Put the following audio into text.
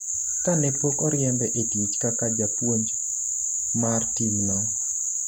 kane pok oriembe e tich kaka japuonj mar tim no